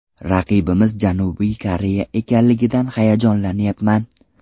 Raqibimiz Janubiy Koreya ekanligidan hayajonlanyapman.